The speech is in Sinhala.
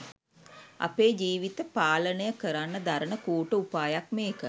අපේ ජීවිත පාලනය කරන්න දරණ කූට උපායක් මේක.